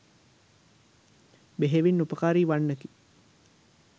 බෙහෙවින් උපකාරී වන්නකි.